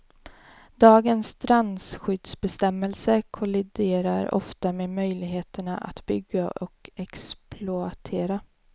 Dagens strandskyddsbestämmelser kolliderar ofta med möjligheterna att bygga och exploatera.